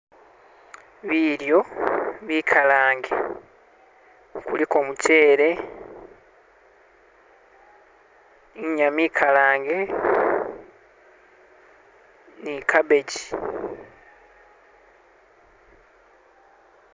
bilyo bikalange kuliko mukyele inyama ikalange nikabeji